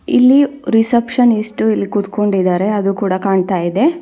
ಇಲ್ಲಿ ರಿಸೆಪ್ಶನಿಸ್ಟ್ ಇಲ್ಲಿ ಕುತ್ಕೊಂಡಿದ್ದಾರೆ ಅದು ಕೂಡ ಕಾಣ್ತಾ ಇದೆ.